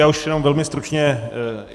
Já už jenom velmi stručně.